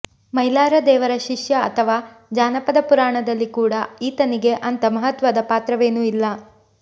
ಮೈಲಾರದೇವರ ಶಿಷ್ಯ ಅಥವಾ ಜಾನಪದ ಪುರಾಣದಲ್ಲಿ ಕೂಡ ಈತನಿಗೆ ಅಂಥ ಮಹತ್ವದ ಪಾತ್ರವೇನೂ ಇಲ್ಲ